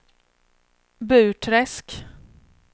Burträsk